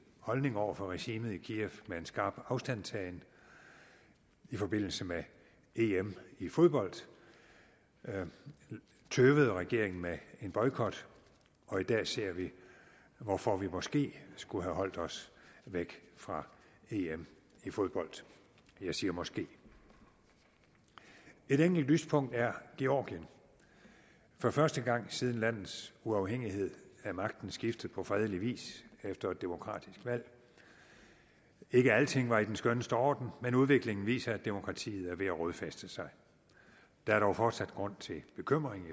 holdning over for regimet i kiev med en skarp afstandtagen i forbindelse med em i fodbold tøvede regeringen med en boykot og i dag ser vi hvorfor vi måske skulle have holdt os væk fra em i fodbold jeg siger måske et enkelt lyspunkt er georgien for første gang siden landets uafhængighed er magten skiftet på fredelig vis efter et demokratisk valg ikke alting var i den skønneste orden men udviklingen viser at demokratiet er ved at rodfæste sig der er dog fortsat grund til bekymring